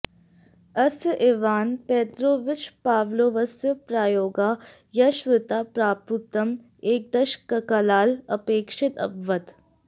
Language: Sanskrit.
अस्य इवान् पेत्रोविच् पाव्लोवस्य प्रायोगाः यशस्वितां प्राप्तुम् एकदशककालः अपेक्षितः अभवत्